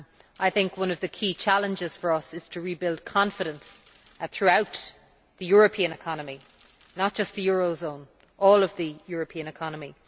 I think one of the key challenges for us is to rebuild confidence throughout the European economy not just the eurozone, but all of the European economy.